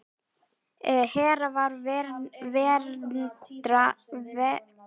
Hera var verndari hjónabands og kvenna.